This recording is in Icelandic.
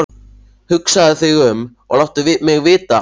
Hugsaðu þig um og láttu mig vita á morgun.